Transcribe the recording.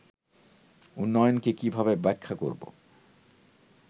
উন্নয়নকে কীভাবে ব্যাখ্যা করব